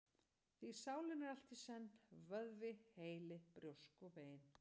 Því sálin er allt í senn: vöðvi, heili, brjósk og bein.